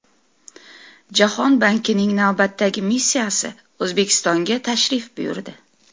Jahon bankining navbatdagi missiyasi O‘zbekistonga tashrif buyurdi.